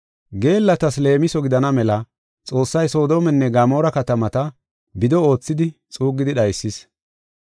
Geellatas leemiso gidana mela Xoossay Soodomenne Gamoora katamata bido oothidi xuuggidi dhaysis.